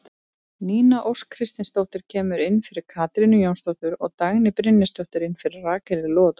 Nína Ósk Kristinsdóttir kemur inn fyrir Katrínu Jónsdóttur og Dagný Brynjarsdóttir inn fyrir Rakel Logadóttur.